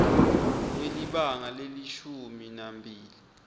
kwelibanga lelishumi nambili